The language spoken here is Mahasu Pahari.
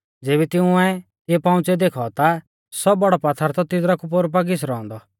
ज़ेबी तिंउऐ तिऐ पंउच़ियौ देखौ ता सौ बौड़ौ पात्थर थौ तिदरा कु पोरु पा घिसरौ औन्दौ